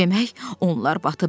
Demək onlar batıb.